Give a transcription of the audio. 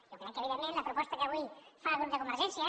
jo crec que evidentment la proposta que avui fa el grup de convergència